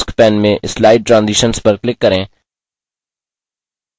task pane में slide transitions पर click करें